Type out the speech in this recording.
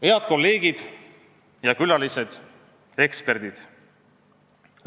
Head kolleegid ja külalised, eksperdid!